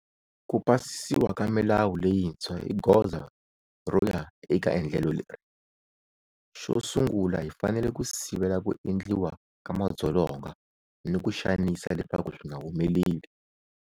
Ku pasisiwa ka milawu leyintshwa i goza ro ya eka endlelo leri. Xo sungula hi fanele ku sivela ku endliwa ka madzolonga ni ku xanisa leswaku swi nga humeleli.